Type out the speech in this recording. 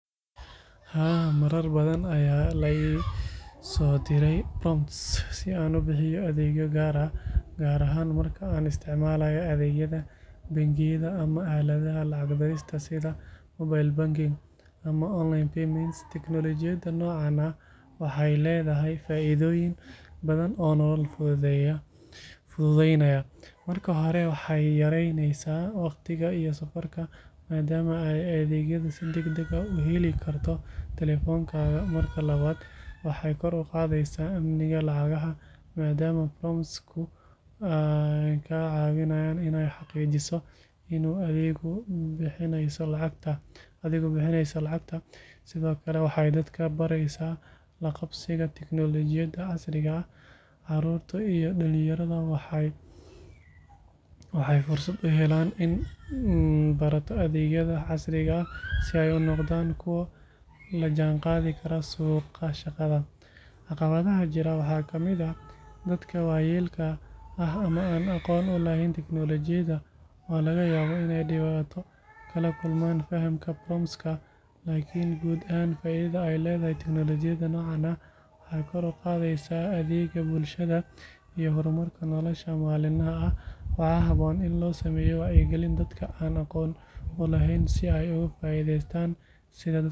Haa, marar badan ayaa la ii soo diray prompt si aan u bixiyo adeegyo gaar ah, gaar ahaan marka aan isticmaalayo adeegyada bangiyada ama aaladaha lacag dirista sida mobile banking ama online payments. Teknoolajiyada noocaan ah waxay leedahay faa’iidooyin badan oo nolol fududeynaya. Marka hore, waxay yaraynaysaa wakhtiga iyo safarka, maadaama aad adeegyada si degdeg ah uga heli karto taleefankaaga. Marka labaad, waxay kor u qaadaysaa amniga lacagaha, maadaama prompt-ku kaa caawinayo inaad xaqiijiso inaad adigu bixinayso lacagta. Sidoo kale, waxay dadka baraysaa la qabsiga tiknoolajiyada casriga ah. Caruurta iyo dhalinyarada waxay fursad u helaan inay barato adeegyada casriga ah si ay u noqdaan kuwo la jaanqaadi kara suuqa shaqada. Caqabadaha jira waxaa ka mid ah dadka waayeelka ah ama aan aqoon u lahayn tiknoolajiyada oo laga yaabo inay dhibaato kala kulmaan fahamka prompt-ka. Laakiin guud ahaan, faa’iidada ay leedahay tiknoolajiyada noocaan ah waxay kor u qaadaysaa adeegga bulshada iyo horumarka nolosha maalinlaha ah. Waxaa habboon in loo sameeyo wacyigelin dadka aan aqoonta u lahayn si ay uga faa’iidaystaan sida dadka kale..